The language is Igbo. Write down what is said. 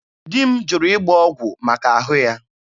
Di m jụrụ ịgba ọgwụ maka ahụ ya.